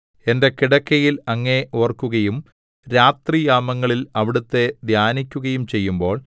എന്റെ കിടക്കയിൽ അങ്ങയെ ഓർക്കുകയും രാത്രിയാമങ്ങളിൽ അവിടുത്തെ ധ്യാനിക്കുകയും ചെയ്യുമ്പോൾ